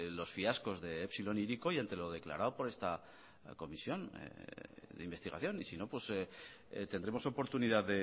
los fiascos de epsilon e hiriko y ante lo declarado por esta comisión de investigación y si no tendremos oportunidad